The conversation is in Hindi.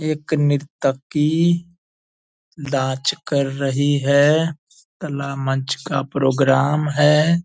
एक निर्तकी नाच कर रही है कला मंच का प्रोग्राम है ।